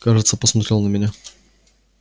кажется посмотрел на меня